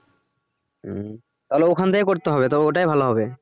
উম তাহলে ওখান থেকে করতে হবে তো ওটাই ভাল হবে।